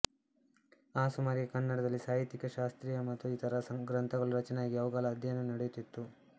ಆ ಸುಮಾರಿಗೆ ಕನ್ನಡದಲ್ಲಿ ಸಾಹಿತ್ಯಿಕ ಶಾಸ್ತ್ರೀಯ ಮತ್ತು ಇತರ ಗ್ರಂಥಗಳೂ ರಚನೆಯಾಗಿ ಅವುಗಳ ಅಧ್ಯಯನವೂ ನಡೆಯುತ್ತಿತ್ತು